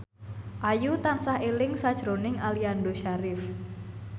Ayu tansah eling sakjroning Aliando Syarif